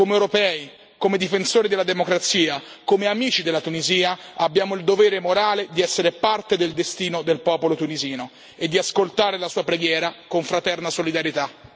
Come europei, come difensori della democrazia, come amici della Tunisia, abbiamo il dovere morale di essere parte del destino del popolo tunisino e di ascoltare la sua preghiera con fraterna solidarietà.